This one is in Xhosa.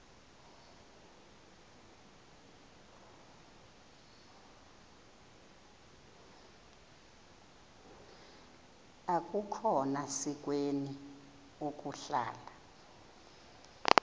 akukhona sikweni ukuhlala